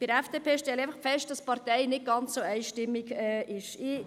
Bei der FDP stelle ich einfach fest, dass diese Partei nicht ganz einstimmig ist.